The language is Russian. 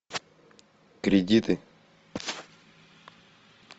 кредиты